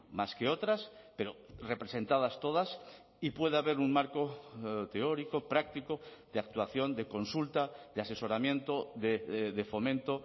más que otras pero representadas todas y puede haber un marco teórico práctico de actuación de consulta de asesoramiento de fomento